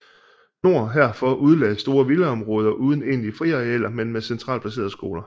Nord herfor udlagdes store villaområder uden egentlige friarealer men med centralt placerede skoler